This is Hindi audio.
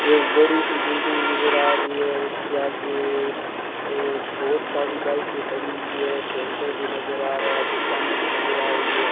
एक बड़ीसी बिल्डिंग नजर आ रही है उसके आगे ये बोहोत सारी बाइके खड़ी हुई है सेंटर भी नजर आ रहा है दुकाने भी नजर आ रही है।